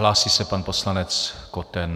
Hlásí se pan poslanec Koten.